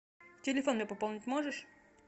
телефон мне пополнить можешь